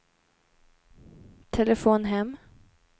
telefon hem